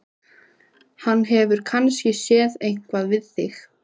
Hann hefur kannski séð eitthvað við þig!